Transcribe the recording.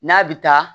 N'a bɛ taa